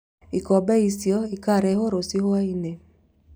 Ikombe icio ikarehwo rũciũ hwaĩ-inĩ